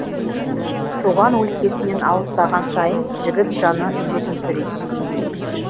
туған өлкесінен алыстаған сайын жігіт жаны жетімсірей түскендей